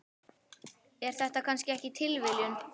Er þetta kannski ekki tilviljun?